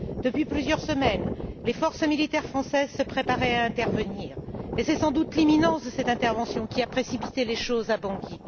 Depuis plusieurs semaines, les forces militaires françaises se préparaient à intervenir et c'est, sans doute, l'imminence de cette intervention qui a précipité les choses à Bangui.